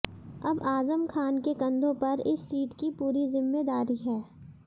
अब आजम खान के कंधों पर इस सीट की पूरी जिम्मेदारी है